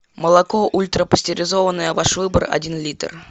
молоко ультрапастеризованное ваш выбор один литр